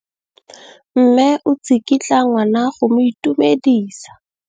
Mme o tsikitla ngwana go mo itumedisa.